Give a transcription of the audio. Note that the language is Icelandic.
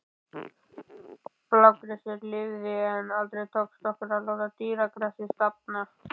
Blágresið lifði, en aldrei tókst okkur að láta dýragrasið dafna.